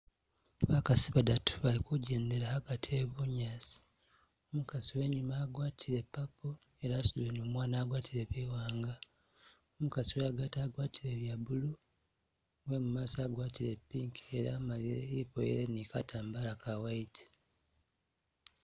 Bakasi badatu bali kujendela hagati he bunyaasi umukasi wenyuma agwatile purple ela asudile ni umwana agwatile biwanga umukasi wehagati agwatile bya blue wemumaso agwatile pink ela amalile eboyele ni katambala ka white.